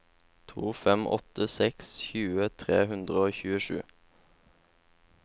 to fem åtte seks tjue tre hundre og tjuesju